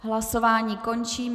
Hlasování končím.